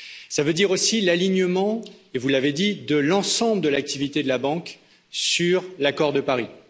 Cela veut dire aussi l'alignement et vous l'avez dit de l'ensemble de l'activité de la banque sur l'accord de Paris.